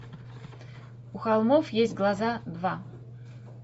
у холмов есть глаза два